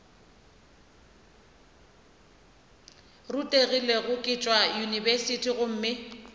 rutegile ke tšwa yunibesithing gomme